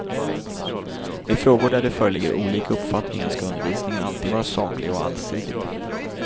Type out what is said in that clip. I frågor där det föreligger olika uppfattningar skall undervisningen alltid vara saklig och allsidig.